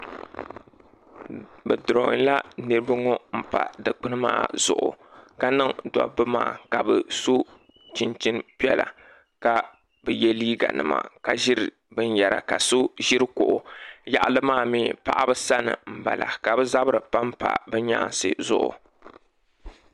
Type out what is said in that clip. bɛ duronyila niribɛ ŋɔ n pa dikpun maa zugu ka niŋ dabi maa ka bɛ so chinchin piɛla ka bɛ yɛ liiga nima ka ziri bin yɛra ka so ziri kuɣu yaɣili maa mi paɣabi sani n bala ka bɛ zabira panpa bɛ nyaaŋsi zuɣu